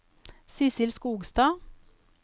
Sissel Skogstad